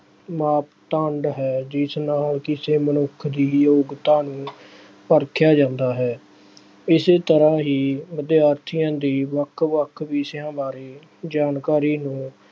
ਮਾਪਦੰਡ ਹੈ ਜਿਸ ਨਾਲ ਕਿਸੇ ਮਨੁੱਖ ਦੀ ਯੋਗਤਾ ਨੂੰ ਪਰਖਿਆ ਜਾਂਦਾ ਹੈ। ਇਸੇ ਤਰ੍ਹਾਂ ਹੀ ਵਿਦਿਆਰਥੀਆਂ ਦੀ ਵੱਖ ਵੱਖ ਵਿਸ਼ਿਆ ਬਾਰੇ ਜਾਣਕਾਰੀ ਨੂੰ